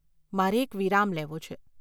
મારે એક વિરામ લેવો છે.